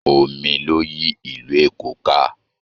Omi ló yí ìlú Èkó ká